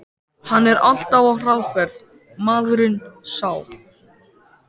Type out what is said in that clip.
Hann er alltaf á hraðferð, maðurinn sá.